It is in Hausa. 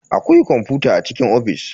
Akwai kwamfuta a cikin ofis.